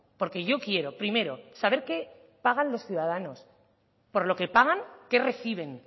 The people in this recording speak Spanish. porque yo quiero primero saber qué pagan los ciudadanos por lo que pagan qué reciben